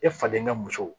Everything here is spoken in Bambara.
E fa den ka muso